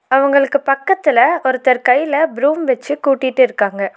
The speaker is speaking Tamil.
அவங்களுக்கு பக்கத்துல ஒருத்தர் கையில ப்ரூம் வச்சு கூட்டிட்டிருக்காங்க.